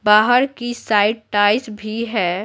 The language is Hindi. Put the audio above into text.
बाहर की साइड भी है।